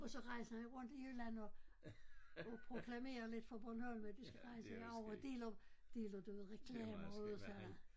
Og så rejser han rundt i Jylland og og proklamerer lidt for Bornholm at de skal rejse herover deler deler du ved reklamer ud og sådan